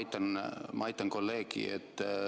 Jah, ma aitan kolleegi.